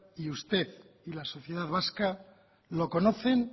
y usted y la sociedad vasca lo conocen